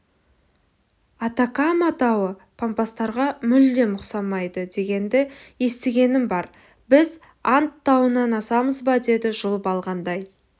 атакама тауы пампастарға мүлдем ұқсамайды дегенді естігенім бар біз анд тауынан асамыз ба деді жұлып алғандай